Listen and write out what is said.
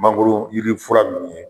Mangoro yiri fura nunnu ye